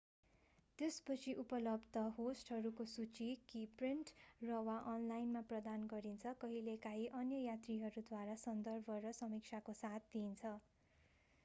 त्यसपछि उपलब्ध होस्टहरूको सूची कि प्रिन्ट र/ वा अनलाइनमा प्रदान गरिन्छ कहिँलेकाहीँ अन्य यात्रीहरूद्वारा सन्दर्भ र समीक्षाको साथ दिइन्छ।